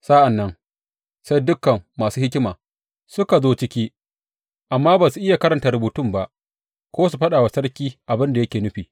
Sa’an nan sai dukan masu hikima suka zo ciki, amma ba su iya karanta rubutun ba ko su faɗa wa sarki abin da yake nufi.